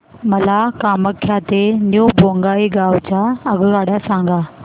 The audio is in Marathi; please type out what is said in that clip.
मला कामाख्या ते न्यू बोंगाईगाव च्या आगगाड्या सांगा